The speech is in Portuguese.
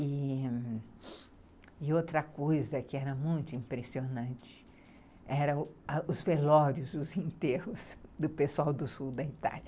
E outra coisa que era muito impressionante eram os velórios, os enterros do pessoal do sul da Itália.